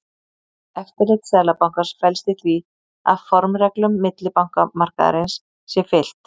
Eftirlit Seðlabankans felst í því að formreglum millibankamarkaðarins sé fylgt.